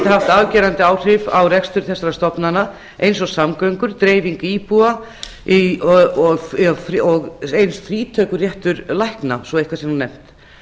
haft afgerandi áhrif á rekstur þessara stofnana eins og samgöngur dreifing íbúa og eins frítökurétts lækna svo eitthvað sé nú nefnt